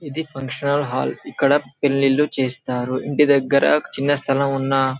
ఇది function hall ఇక్కడ పెళ్లిళ్లు చేస్తారు ఇంటి దగ్గర చిన్న స్థలం ఉన్న--